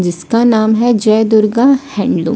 जिसका नाम है जय दुर्गा हेलो--